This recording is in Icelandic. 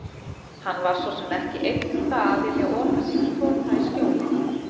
Hann var svo sem ekki einn um það að vilja ota sínum tota í skjóli